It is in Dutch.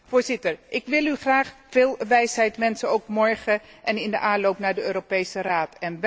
Voorzitter, ik wil u graag veel wijsheid wensen, ook morgen en in de aanloop naar de Europese Raad.